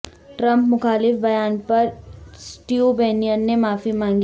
Trump مخالف بیان پر اسٹیو بینن نے معافی مانگی